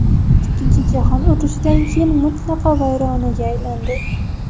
Ikkinchi jahon urushidan keyin mutlaqo vayronaga aylandi.